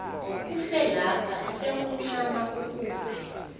uselapha sewuncama kukude